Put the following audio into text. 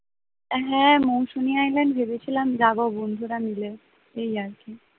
হ্যাঁ মৌসুমে island একবার ভেবেছিলাম যাব বন্ধুরা মিলে এই আরকি